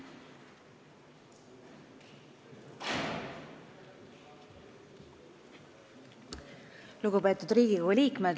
Lugupeetud Riigikogu liikmed!